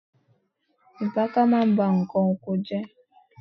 Ìpáàkà ma ń bá ǹkan oko jẹ́.